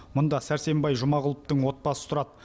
мұнда сәрсенбай жұмағұловтың отбасы тұрады